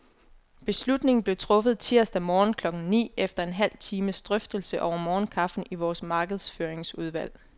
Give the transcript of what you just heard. Beslutningen blev truffet tirsdag morgen klokken ni, efter en halv times drøftelse over morgenkaffen i vores markedsføringsudvalg.